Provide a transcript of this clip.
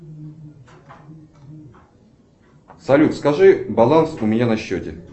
салют скажи баланс у меня на счете